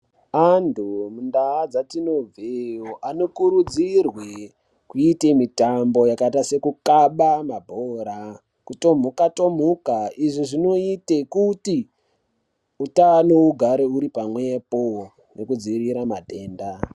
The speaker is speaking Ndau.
Antu mundaa dzatinobveyo anokurudzirwe kuite mitambo yakaita sekukaba mabhora nekutomhuka-tomhuka. Izvi zvinoite kuti utano ugare huri pamwepo nekudziirira matenda.